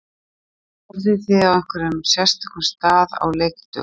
Borðið þið á einhverjum sérstökum stað á leikdögum?